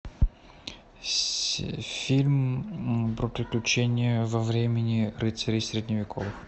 фильм про приключения во времени рыцарей средневековых